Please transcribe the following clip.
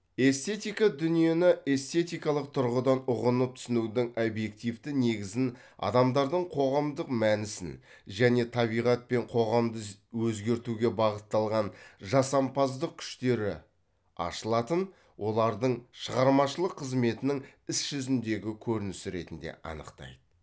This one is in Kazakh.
эстетика дүниені эстетикалық тұрғыдан ұғынып түсінудің объективті негізін адамдардың қоғамдық мәнісін және табиғат пен қоғамды өзгертуге бағытталған жасампаздық күштері ашылатын олардың шығармашылық қызметінің іс жүзіндегі көрінісі ретінде анықтайды